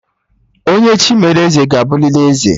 Onye Chi melụ eze ga-abụlịlị eze